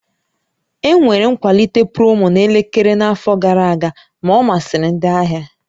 Enwere nkwalite promo na elekere n'afọ gara aga, ma ọ masịrị ndị ahịa